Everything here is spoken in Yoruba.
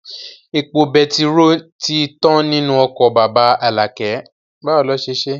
Epo betiró tí tán nínú ọkọ̀ bàbá Alakẹ